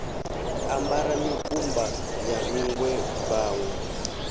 ambara mikumba ya nṋgwe vhanwe